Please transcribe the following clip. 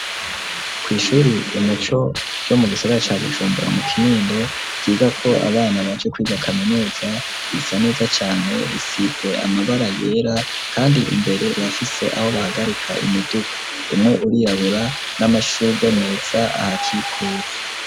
kw'ishure umuco ryo mu gisaga ca gushumbura mu kinindo, ryiga ko abana baje kwiga kaminuza risa neza cyane isitze amabara yera kandi imbere rafise aho bahagarika imiduka, umwe urirabura n'amashugwe meza aha kikuje.